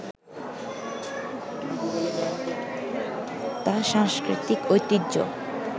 তা সাংস্কৃতিক ঐতিহ্য